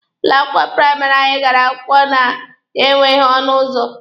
Ụlọ akwụkwọ praịmarị anyị gara akwụkwọ na ya enweghị ọnụ ụzọ.